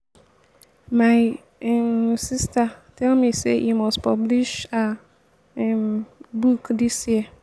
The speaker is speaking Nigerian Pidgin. my um sister tell me say he must publish her um book dis year